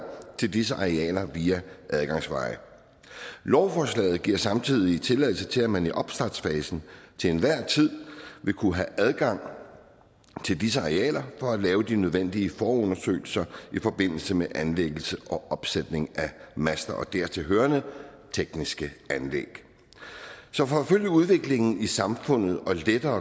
til disse arealer via adgangsveje lovforslaget giver samtidig tilladelse til at man i opstartsfasen til enhver tid vil kunne have adgang til disse arealer for at lave de nødvendige forundersøgelser i forbindelse med anlæggelse og opsætning af master og dertilhørende tekniske anlæg så for at følge udviklingen i samfundet og lette